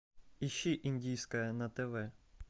ищи индийское на тв